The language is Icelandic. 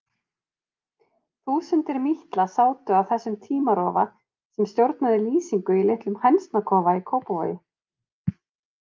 Þúsundir mítla sátu á þessum tímarofa sem stjórnaði lýsingu í litlum hænsnakofa í Kópavogi.